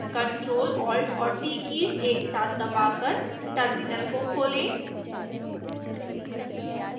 ctrl+alt+t एक साथ दबाकर टर्मिनल को खोलें